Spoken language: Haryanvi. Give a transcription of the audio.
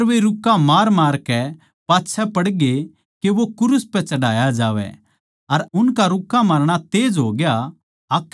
पर वे रुक्के मारमारकै पाच्छै पड़ ग्ये के वो क्रूस पै चढ़ाया जावै अर उनका रुक्के मारणा तेज होग्या